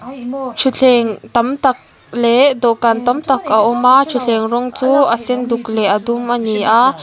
thuthleng tam tak leh dawhkan tam tak a awm a thuthleng rawng chu a sen duk leh a dum a ni a.